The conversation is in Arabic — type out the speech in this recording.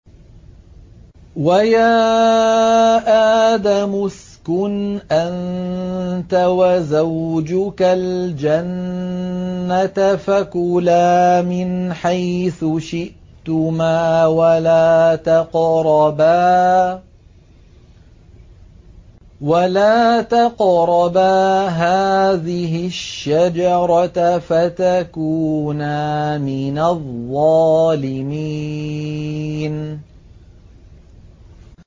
وَيَا آدَمُ اسْكُنْ أَنتَ وَزَوْجُكَ الْجَنَّةَ فَكُلَا مِنْ حَيْثُ شِئْتُمَا وَلَا تَقْرَبَا هَٰذِهِ الشَّجَرَةَ فَتَكُونَا مِنَ الظَّالِمِينَ